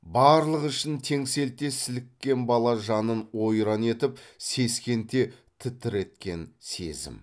барлық ішін теңселте сіліккен бала жанын ойран етіп сескенте тітіреткен сезім